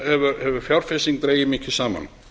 hefur fjárfesting dregist mikið saman